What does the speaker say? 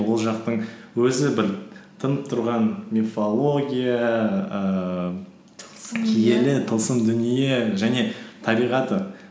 ол жақтың өзі бір тынып тұрған мифология ііі тылсым дүние және табиғаты